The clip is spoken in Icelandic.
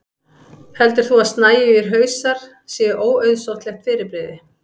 heldur þú að snæugir hausar séu óauðsóttlegt fyrirbrigði